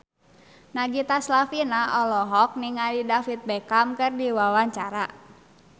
Nagita Slavina olohok ningali David Beckham keur diwawancara